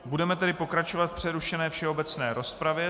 Budeme tedy pokračovat v přerušené všeobecné rozpravě.